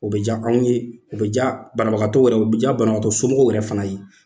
O bɛ ja anw ye , o bɛ ja banabagatɔw yɛrɛ ye, u bɛ ja banabagatɔ somɔgɔw yɛrɛ fana ye.